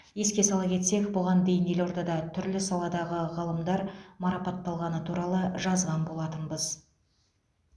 еске сала кетсек бұған дейін елордада түрлі саладағы ғалымдар марапатталғаны туралы жазған болатынбыз